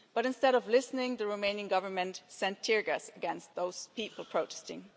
But, instead of listening, the Romanian Government sent tear gas against those people protesting.